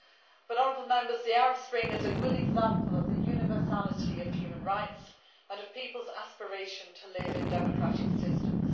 But honourable Members, the Arab Spring is a good example of the universality of human rights and of peoples' aspiration to live in democratic systems.